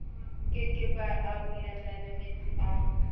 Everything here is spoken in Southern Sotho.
ke ke ba arolelanametsi a